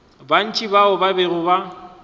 bantši bao ba bego ba